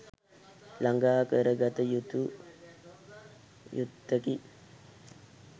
ළඟා කරගත යුත්තකි.